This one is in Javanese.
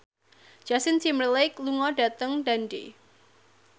Justin Timberlake lunga dhateng Dundee